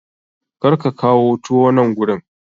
Kar ka kawo tuwo nan gurin!